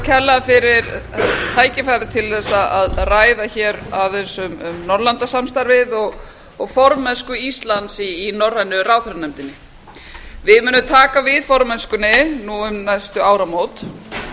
kærlega fyrir tækifærið til að ræða aðeins um norðurlandasamstarfið og formennsku íslands í norrænu ráðherranefndinni við munum taka við formennskuári nú um næstu áramót